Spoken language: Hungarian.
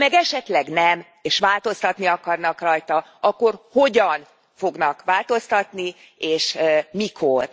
Ha meg esetleg nem, és változtatni akarnak rajta, akkor hogyan fognak változtatni és mikor?